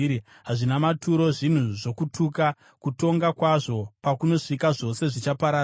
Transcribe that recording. Hazvina maturo, zvinhu zvokutuka; kutongwa kwazvo pakunosvika, zvose zvichaparara.